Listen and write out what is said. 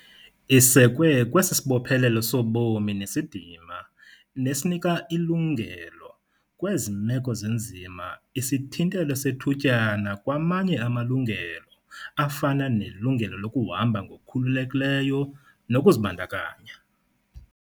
Isekwe kwesi sibophelelo sobomi nesidima, nesinika ilungelo - kwezi meko zinzima - isithintelo sethutyana kwamanye amalungelo, afana nelungelo lokuhamba ngokukhululekileyo nokuzibandakanya.